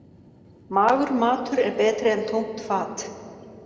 Magur matur er betri en tómt fat.